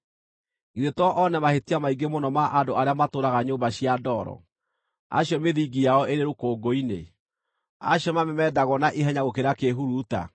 githĩ to oone mahĩtia maingĩ mũno ma andũ arĩa matũũraga nyũmba cia ndoro, acio mĩthingi yao ĩrĩ rũkũngũ-inĩ, acio mamemendagwo na ihenya gũkĩra kĩĩhuruta!